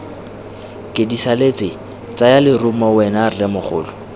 kedisaletse tsaya lerumo wena rremogolo